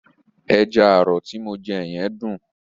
Ẹja àrọ̀ ti mo jẹ yẹn dùn.